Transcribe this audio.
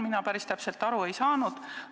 Mina päris täpselt aru ei ole saanud.